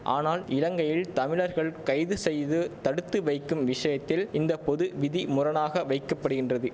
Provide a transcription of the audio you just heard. ஆனால் இலங்கையில் தமிழர்கள் கைது செய்து தடுத்து வைக்கும் விஷயத்தில் இந்த பொது விதி முரணாக வைக்கப்படுகின்றது